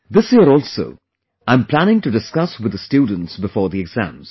This year also I am planning to discuss with the students before the exams